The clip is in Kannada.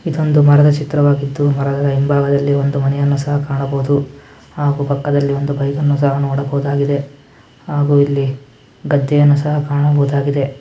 ಇದೊಂದು ಮರದ ಚಿತ್ರವಾಗಿದ್ದು ಮರದ ಹಿಂಬಾಗದಲ್ಲಿ ಒಂದು ಮನೆಯನ್ನು ಸಹ ಕಾಣಬಹುದು ಹಾಗು ಪಕ್ಕದಲ್ಲಿ ಒಂದು ಬೈಕ್ ಅನ್ನು ಸಹ ನೋಡಬಹುದಾಗಿದೆ. ಹಾಗು ಇಲ್ಲಿ ಗದ್ದೆಯನ್ನು ಸಹ ಕಾಣಬಹುದಾಗಿದೆ.